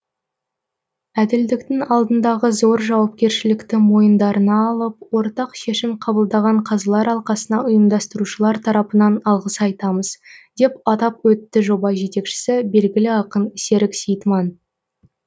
әділдіктің алдындағы зор жауапкершілікті мойындарына алып ортақ шешім қабылдаған қазылар алқасына ұйымдастырушылар тарапынан алғыс айтамыз деп атап өтті жоба жетекшісі белгілі ақын серік сейітман